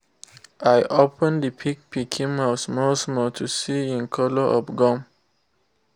i open the pig pikin mouth small small to see en color of gum